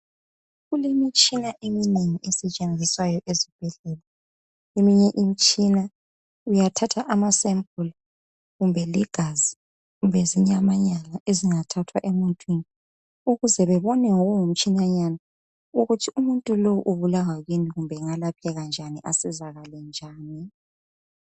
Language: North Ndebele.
Kulemitshina eminengi esetshenziswayo esibhedlela, eminye imitshina uyathatha ama sample kumbe ligazi,, kumbe zinyamanyana ezingathathwa emuntwini ukuze bebone ngokungumtshinanyana ukuthi umuntu lowu ubulawa kuyini, kumbe engalapheka njani kumbe asizakale njani